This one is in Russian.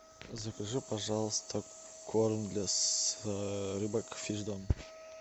закажи пожалуйста корм для рыбок фишдом